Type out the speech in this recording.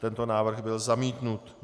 Tento návrh byl zamítnut.